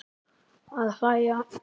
Að hlæja.